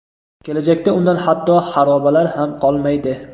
kelajakda undan hatto xarobalar ham qolmaydi.